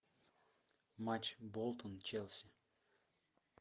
матч болтон челси